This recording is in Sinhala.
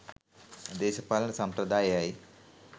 දේශපාලන සම්ප්‍රදාය එයයි.